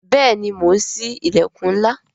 Bẹẹni, mo ń sí ilẹkun ńlá